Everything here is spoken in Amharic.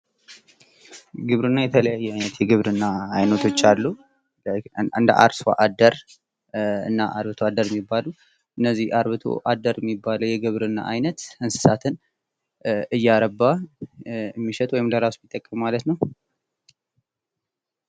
ግብርና የተለያዩ አይነት የግብርና አይነቶች አሉ የአርሶ አደር እና የአርብቶ አደር የሚባሉ እነዚህ አርብቶ አደር የሚባሉት እንስሳትን እያረባ ሚሸጥ ወይም ለራሱ የሚጠቀም ማለት ነው።